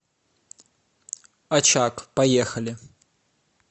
очаг поехали